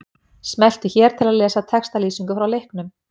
Smelltu hér til að lesa textalýsingu frá leiknum.